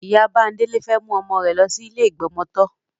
Ìyá Bándélé fẹ́ mú ọmọ rẹ̀ lọ sí ilé ìgbọmọtọ́.